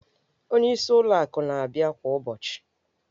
Onyeisi ụlọ akụ ọ na-abịa kwa ụbọchị?